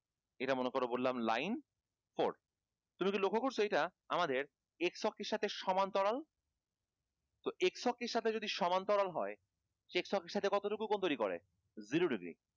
এটা মনে করো বললাম line fort তুমি কি লক্ষ করছ এটা আমাদের এই ছকটির সাথে সমান্তরাল তো এই ছকটির সাথে যদি সমান্তরাল হয় এই ছকটির সাথে কতটুকু কোণ তৈরী করে zero degree